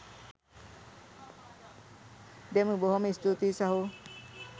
දෙමු බොහොම ස්තූතියි සහෝ.